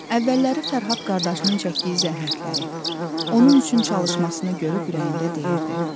Əvvəlləri Fərhad qardaşının çəkdiyi zəhmətləri, onun üçün çalışmasını görüb ürəyində deyirdi: